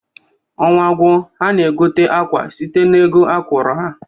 Ọnwa gwuo ha na-egote akwa site n'ego akwụrụ ha.